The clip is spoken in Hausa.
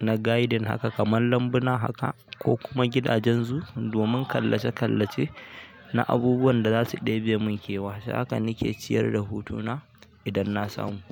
na gaidin haka kamar lambuna haka ko kuma gidajen zoo domin kalle-kallece na abubuwan da za su ɗebe mun kewa. Da'hakan nake ciyar da hutuna idan na samu.